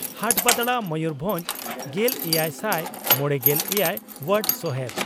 ᱦᱟᱴᱵᱟᱫᱽᱲᱟ ᱢᱚᱭᱩᱨᱵᱷᱚᱸᱡᱽ ᱾ᱜᱮᱞᱮᱭᱟᱭ ᱥᱟᱭ ᱢᱚᱲᱮᱜᱮᱞ ᱮᱭᱟᱭ ᱹ ᱚᱣᱟᱨᱰ ᱥᱚᱦᱮᱫ